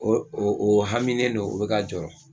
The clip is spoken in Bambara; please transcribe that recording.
O o haminnen don o ne ka jɔrɔ